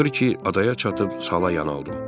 Axır ki, adaya çatıb sala yanaldım.